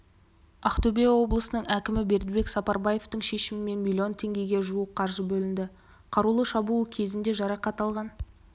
ақтөбе облысының әкімі бердібек сапарбаевтың шешімімен млн теңгеге жуық қаржы бөлінді қарулы шабуыл кезінде жарақат алған